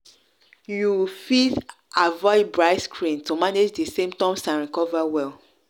you fit avoid bright screen to manage di symptoms and recover well.